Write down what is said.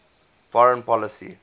foreign policy